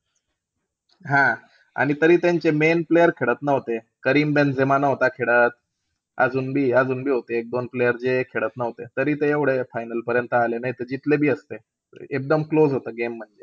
हां आणि तरी त्यांचे main player खेळत नव्हते. करीम बेंझेमा नव्हता खेळत. अजून बी-अजून बी होते एक-दोन player जे खेळत नव्हते. तरी ते एवढे final पर्यंत आले. नाहीत जीतले बी असते. एकदम close होता game म्हणजे.